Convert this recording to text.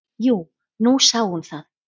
"""Jú, nú sá hún það."""